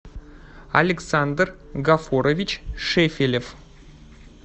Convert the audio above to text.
александр гафурович шефелев